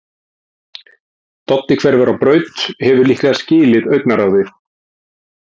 Doddi hverfur á braut, hefur líklega skilið augnaráðið.